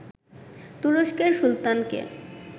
তুরস্কের সুলতানকে